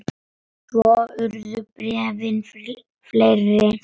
Svo urðu bréfin fleiri.